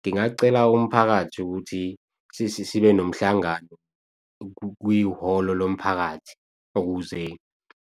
Ngingacela umphakathi ukuthi sibe nomhlangano kwihholo lomphakathi ukuze